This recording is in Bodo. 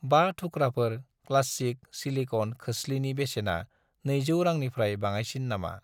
5 थुख्राफोर क्लासिक सिलिकन खोस्लिनि बेसेना 200 रांनिफ्राय बाङायसिन नामा?